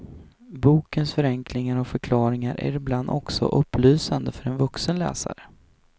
Bokens förenklingar och förklaringar är ibland också upplysande för en vuxen läsare.